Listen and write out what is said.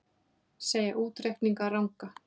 Segja útreikninga ranga